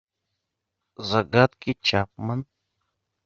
загадки чапман